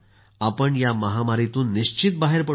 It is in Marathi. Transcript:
आपण या महामारीतून निश्चित बाहेर पडू